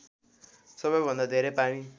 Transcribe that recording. सबैभन्दा धेरै पानी